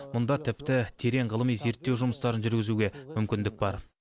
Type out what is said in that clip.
мұнда тіпті терең ғылыми зерттеу жұмыстарын жүргізуге мүмкіндік бар